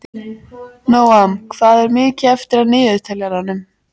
Nóam, hvað er mikið eftir af niðurteljaranum?